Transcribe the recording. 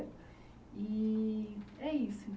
E é isso